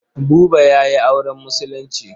Buba ya yi auren Musulunci.